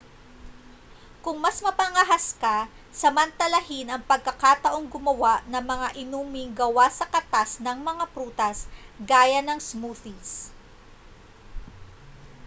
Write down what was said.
kung mas mapangahas ka samantalahin ang pagkakataong gumawa ng mga inuming gawa sa katas ng mga prutas gaya ng smoothies